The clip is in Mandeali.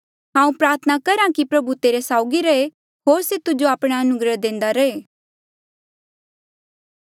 हांऊँ प्रार्थना करहा कि प्रभु तेरे साउगी रहे होर से तुजो आपणा अनुग्रह देंदा रहे